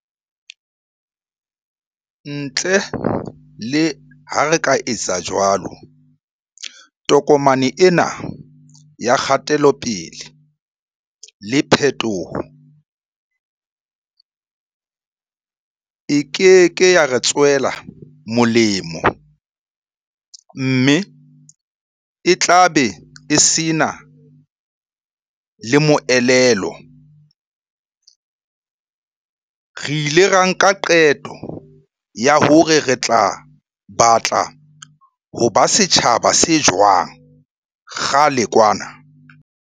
Ntle le ha re ka etsa jwalo, tokomane ena ya kgatelope-le le phetoho e keke ya re tswela molemo mme e tlabe e sena le moelelo. Re ile ra nka qeto ya hore re batla ho ba setjhaba se jwang kgale kwana.